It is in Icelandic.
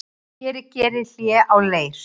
Hér ég geri hlé á leir